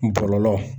Bɔlɔlɔ